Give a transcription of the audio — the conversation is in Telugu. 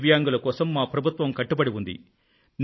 దివ్యాంగుల కోసం మా ప్రభుత్వం కట్టుబడి ఉంది